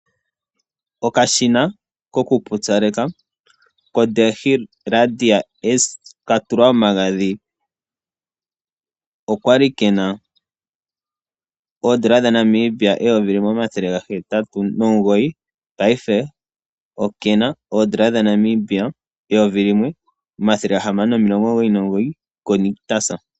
Okashina ko kupyupyaleka ko Delonghi Radia S katulwa omagadhi okali kena N$1809 paife okena N$1699 ko Nictus.